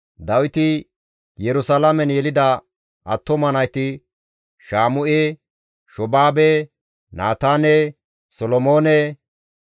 Dawiti Yerusalaamen yelida attuma nayti Shaamu7e, Shoobaabe, Naataane, Solomoone,